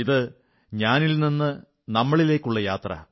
ഇത് ഞാനിൽ നിന്ന് നാമിലേക്കുള്ള യാത്ര